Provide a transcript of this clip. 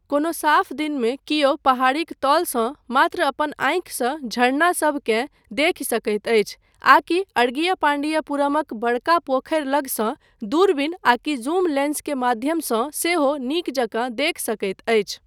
कोनो साफ दिनमे कियो पहाड़ीक तलसँ मात्र अपन आँखिसँ झरनासभकेँ देखि सकैत अछि आकि अड़गियपांडियपुरमक बड़का पोखरि लगसँ दूरबीन आकि जूम लेंसक माध्यमसँ सेहो नीक जकाँ देखि सकैत अछि।